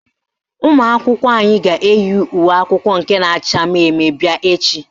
Ụmụakwụkwọ anyị ga-eyi uwe akwụkwọ nke na-acha mmemme bịa echi